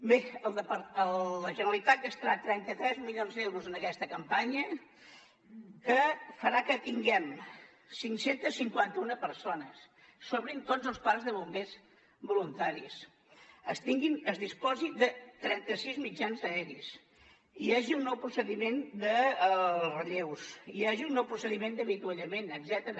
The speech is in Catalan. bé la generalitat gastarà trenta tres milions d’euros en aquesta campanya que farà que tinguem cinc cents i cinquanta un persones s’obrin tots els parcs de bombers voluntaris es disposi de trenta sis mitjans aeris i hi hagi un nou procediment de relleus hi hagi un nou procediment d’avituallament etcètera